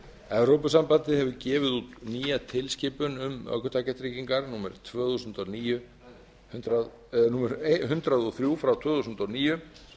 evrópusambandið hefur gefið út nýja tilskipun um ökutækjatryggingar númer hundrað og þrjú tvö þúsund og níu